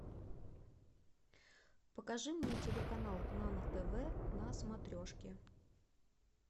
покажи мне телеканал нано тв на смотрешке